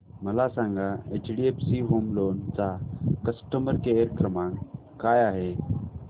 मला सांगा HDFC home loan चा कस्टमर केअर क्रमांक काय आहे